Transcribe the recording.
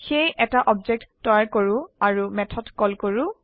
সেয়ে এটা অবজেক্ট তৈয়াৰ কৰো আৰু মেথড কল কৰো